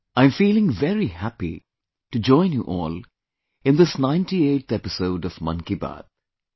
I am feeling very happy to join you all in this 98th episode of 'Mann Ki Baat'